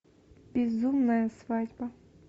безумная свадьба